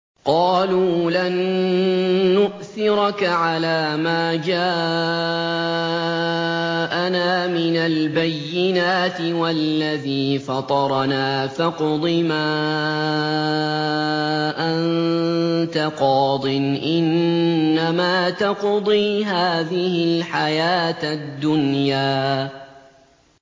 قَالُوا لَن نُّؤْثِرَكَ عَلَىٰ مَا جَاءَنَا مِنَ الْبَيِّنَاتِ وَالَّذِي فَطَرَنَا ۖ فَاقْضِ مَا أَنتَ قَاضٍ ۖ إِنَّمَا تَقْضِي هَٰذِهِ الْحَيَاةَ الدُّنْيَا